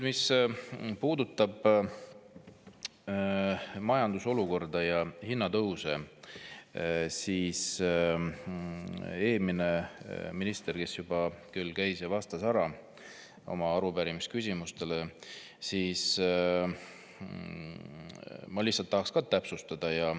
Mis puudutab majandusolukorda ja hinnatõuse, siis eelmine minister juba küll käis ja vastas ära oma arupärimise küsimustele, aga ma lihtsalt tahan täpsustada.